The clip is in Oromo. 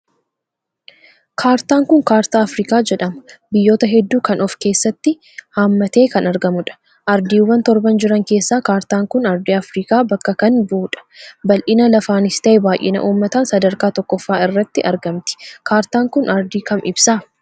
Kaartaan Kun kaartaa Afrikaa jedhama biyyoota hedduu kan of keessatti hammatee kan argamuudha. Ardiiwwan torban jiran keessaa kaartaan kun ardii Afrikaa bakka kan bahuudha. bal'ina lafaanis, tahe baay'ina uummataan sadarkaa tokkooffaa irratti argamti .kaartaan kun ardii kam ibsa?